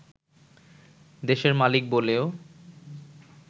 দেশের মালিক বলেও